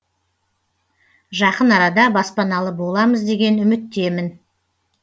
жақын арада баспаналы боламыз деген үміттемін